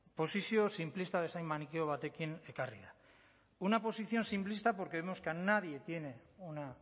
posizio sinplista bezain manikeo batekin ekarri da una posición simplista porque vemos que nadie tiene una